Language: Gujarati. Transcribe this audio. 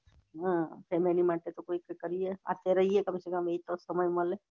હા ફેમીલી માટે તો કાય કરીએ અત્યારે એયીયે કમ સે કમ એતો સમય મળે